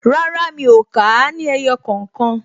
Rárá, mi ò kà á ní ẹyọ kookan